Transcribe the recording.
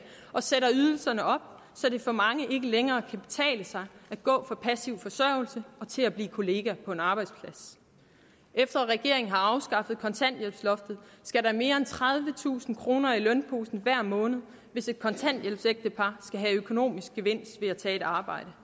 og sætte ydelserne op så det for mange ikke længere kan betale sig at gå fra passiv forsørgelse til at blive kollega på en arbejdsplads efter regeringen har afskaffet kontanthjælpsloftet skal der mere end tredivetusind kroner i lønningsposen hver måned hvis et kontanthjælpsægtepar skal have økonomisk gevinst ved at tage et arbejde